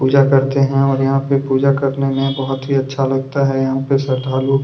पूजा करते है और यहाँ पे पूजा करने में बहुत ही अच्छा लगता है यहाँ पे श्रद्धालु --